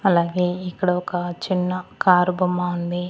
అలాగే ఇక్కడ ఒక చిన్న కారు బొమ్మ ఉంది.